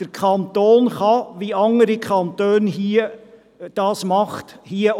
Wie andere Kantone auch, kann der Kanton Bern dies regeln.